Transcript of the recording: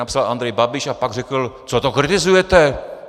Napsal Andrej Babiš a pak řekl: Co to kritizujete?